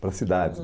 Para a cidade.